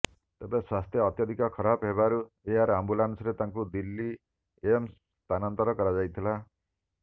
ତେବେ ସ୍ୱାସ୍ଥ୍ୟ ଅତ୍ୟଧିକ ଖରାପ ହେବାରୁ ଏୟାର ଆମ୍ବୁଲାନ୍ସରେ ତାଙ୍କୁ ଦିଲ୍ଲୀ ଏମସ୍ ସ୍ଥାନାନ୍ତର କରାଯାଇଥିଲା